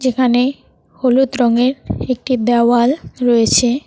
যেখানে হলুদ রঙের একটি দেওয়াল রয়েছে।